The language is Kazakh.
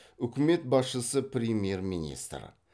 үкімет басшысы премьер министр